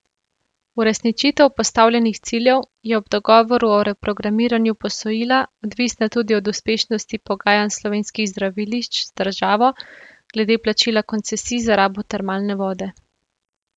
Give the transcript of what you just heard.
Uresničitev postavljenih ciljev je ob dogovoru o reprogramiranju posojila odvisna tudi od uspešnosti pogajanj slovenskih zdravilišč z državo glede plačila koncesij za rabo termalne vode.